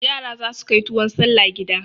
Yara za su kai tuwon salla gida.